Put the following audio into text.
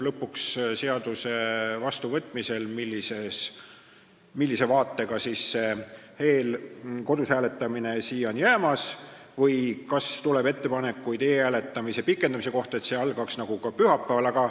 Seaduse vastuvõtmisel selgub lõpuks tõde, millise vaatega see kodus hääletamine sisse jääb või kas tuleb ettepanekuid e-hääletamise pikendamise kohta, nii et see algaks pühapäeval.